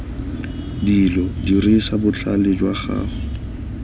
dilo dirisa botlhale jwa gago